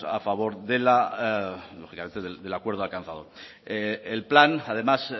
a favor de la lógicamente del acuerdo alcanzado el plan además